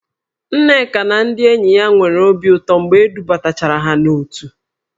Nneka na ndị enyi ya niile nwere obi ụtọ mgbe e dubatachara ha n'òtù